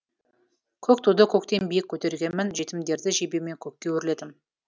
көк туды көктен биік көтергенмін жетімдерді жебеумен көкке өрледім